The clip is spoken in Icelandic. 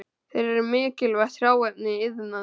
Þeir eru mikilvægt hráefni í iðnaði.